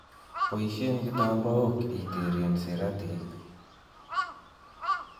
Boishen kitambaok iteren siratik.